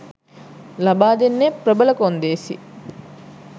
ලබා දෙන්නේ ප්‍රබල කොන්දේසි